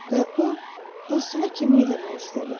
Və o dostuna kömək eləmək istədi.